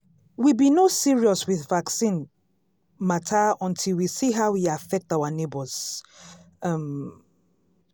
we be no serious with vaccine matter until we see how e affect our neighbors. um